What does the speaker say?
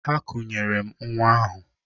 Ha kunyere m nnwa ahụ.